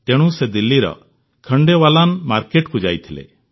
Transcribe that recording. ତେଣୁ ସେ ଦିଲ୍ଲୀର ଝଣ୍ଡେୱାଲାନ୍ ମାର୍କେଟକୁ ଯାଇଥିଲେ